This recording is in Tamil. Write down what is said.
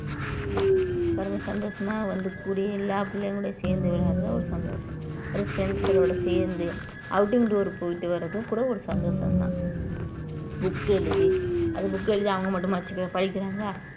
பாருங்க சந்தோஷமா வந்து கூடயே எல்லா பிள்ளைங்களோட சேர்ந்து விளையாடுறதுல ஒரு சந்தோஷம் ஒரு friends களோட சேர்ந்து outing door போயிட்டு வர்றதும் கூட ஒரு சந்தோஷம் தான் book எழுதி அது book எழுதி அவங்க மட்டுமா வச்சுக்க படிக்கிறாங்க